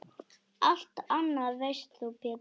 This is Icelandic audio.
Allt annað veist þú Pétur.